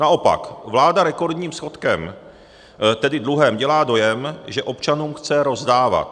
Naopak, vláda rekordním schodkem, tedy dluhem, dělá dojem, že občanům chce rozdávat.